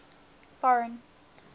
foreign